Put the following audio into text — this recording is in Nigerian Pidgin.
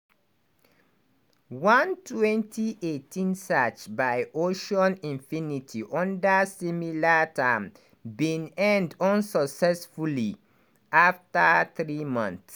one 2018 search by ocean infinity under similar terms bin end unsuccessfully afta three months.